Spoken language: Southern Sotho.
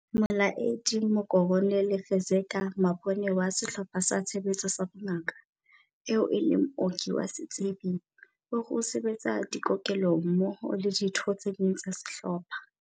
Molaedi Mokoronele Fezeka Mabona wa Sehlopha sa Tshebetso sa Bongaka, eo e leng mooki wa setsebi, o re o se betsa dikokelong mmoho le ditho tse ding tsa sehlopha.